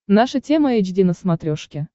наша тема эйч ди на смотрешке